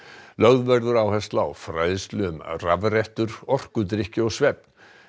lögð verður áhersla á fræðslu um rafrettur orkudrykki og svefn